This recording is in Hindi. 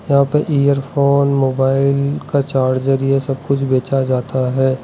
यहां पे इयर फोन मोबाइल का चार्जर ये सब कुछ बेचा जाता है।